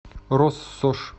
россошь